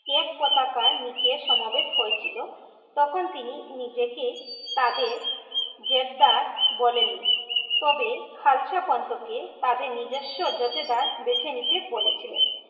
এক কোথাকার নিচে সমাবেত হয়েছিল তখন তিনি নিজেকে তাদের জেদ্দার বলেননি তবে খালসা পান্থ কে তাদের নিজস্ব নিতে বলেছিলেন